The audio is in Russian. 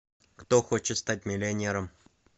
кто хочет стать миллионером